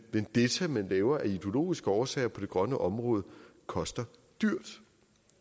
vendetta man laver af ideologiske årsager på det grønne område koster dyrt